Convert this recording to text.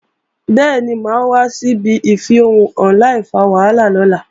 Bẹ́ẹ̀ni, mà á wá síbi ìfẹ̀hónúhàn láìfa wàhálà lọ́la